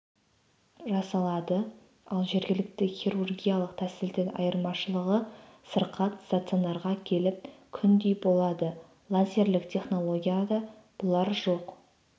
жасалады ал жергілікті хирургиялық тәсілдің айырмашылығы сырқат стационарға келіп күндей болады лазерлік технологияда бұлар жоқ